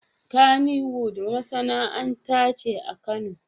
Kaniwood masanaanta ce akano